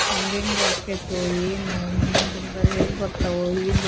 ಹೆಂಗೆಂಗ ಅಕ್ಕೆತೋ, ಏನೋ ಮುಂದಿನ ದಿನಗಳ್ ಹೇಗ ಬರ್ತವೋ.